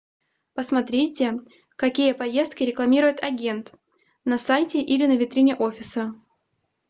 посмотрите какие поездки рекламирует агент на сайте или на витрине офиса